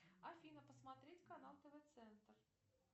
афина посмотреть канал тв центр